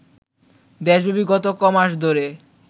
দেশব্যাপী গত কমাস ধরে